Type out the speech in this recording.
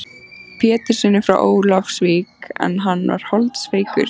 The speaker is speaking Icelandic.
Péturssyni frá Ólafsvík en hann var holdsveikur.